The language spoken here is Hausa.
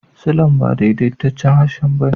Silan ba daidaitaccen harshe ba ne.